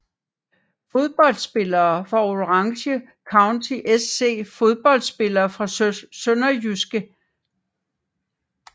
Fodboldspillere fra Orange County SC Fodboldspillere fra SønderjyskE